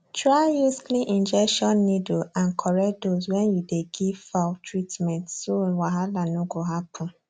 try use clean injection needle and correct dose when you dey give fowl treatment so wahala no go happen